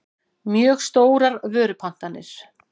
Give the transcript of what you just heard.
mjög stórar vörupantanir.